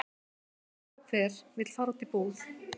Hver og hver og vill fara út í búð?